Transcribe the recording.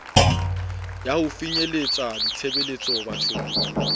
ya ho finyeletsa ditshebeletso bathong